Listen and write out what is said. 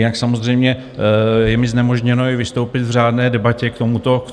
Jinak samozřejmě je mi znemožněno i vystoupit v řádné debatě k tomuto bodu.